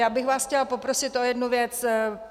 Já bych vás chtěla poprosit o jednu věc.